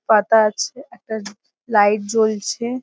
পাতা আছে একটা লাইট জ্বলছে ।